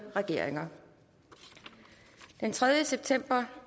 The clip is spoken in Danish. regeringer den tredje september